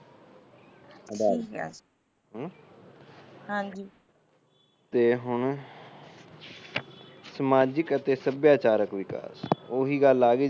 ਤੇ ਹੁਣ ਸਮਾਜਿਕ ਤੇ ਸੱਭਿਆਚਾਰਕ ਵਿਕਾਸ ਉਹੀ ਗੱਲ ਆਗੀ